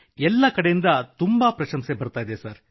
ಎಲ್ಲೆಡೆಯಿಂದ ಬಹಳ ಪ್ರಶಂಸೆ ದೊರೆಯಿತು